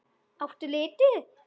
Áttu liti?